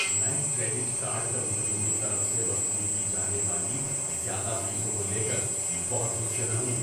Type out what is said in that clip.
میں credit card کمپنیوں کی طرف سے وصول کی جانے والی زیادہ فیسوں کو لے کر بہت غصے میں ہوں۔